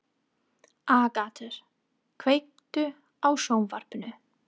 Agata, kveiktu á sjónvarpinu.